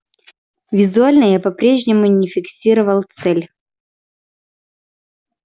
визуально я по-прежнему не фиксировал цель